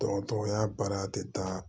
Dɔgɔtɔrɔya baara tɛ taa